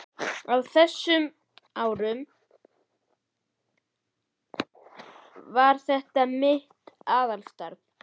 Á þess- um árum var þetta mitt aðalstarf.